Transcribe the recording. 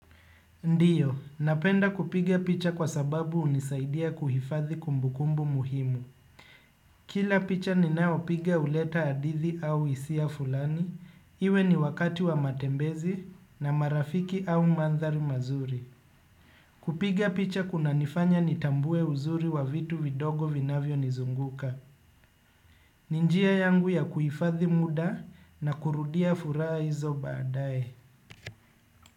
Ndiyo, napenda kupiga picha kwa sababu hunisaidia kuhifadhi kumbukumbu muhimu. Kila picha ninao pigia huleta hadithi au hisia fulani, iwe ni wakati wa matembezi na marafiki au mandhari mazuri. Kupiga picha kunanifanya nitambue uzuri wa vitu vidogo vinavyonizunguka. Ni njia yangu ya kuhifadhi muda na kurudia furaha hizo baadae.